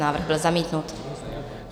Návrh byl zamítnut.